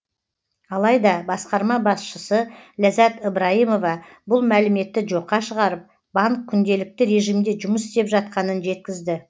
алайда басқарма басшысы ләззат ыбрайымова бұл мәліметті жоққа шығарып банк күнделікті режимде жұмыс істеп жатқанын жеткізді